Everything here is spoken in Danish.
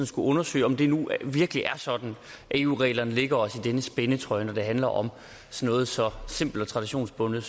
skulle undersøge om det nu virkelig er sådan at eu reglerne lægger os i denne spændetrøje når det handler om noget så simpelt og traditionsbundet